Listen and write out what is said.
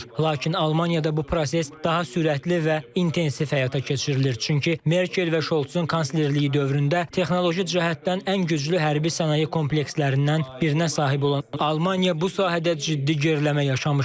Lakin Almaniyada bu proses daha sürətli və intensiv həyata keçirilir, çünki Merkel və Şolzun kanslerliyi dövründə texnoloji cəhətdən ən güclü hərbi sənaye komplekslərindən birinə sahib olan Almaniya bu sahədə ciddi geriləmə yaşamışdı.